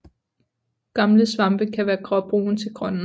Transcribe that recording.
Gamle svampe kan være gråbrune til grønne